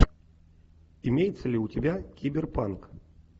имеется ли у тебя киберпанк